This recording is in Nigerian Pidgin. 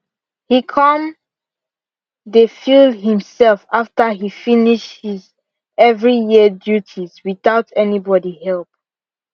he come dey feel himself after he finish his every year duties without any body help